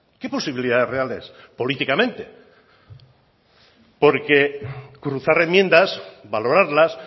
qué posibilidades reales políticamente porque cruzar enmiendas valorarlas